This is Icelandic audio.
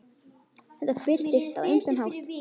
Þetta birtist á ýmsan hátt.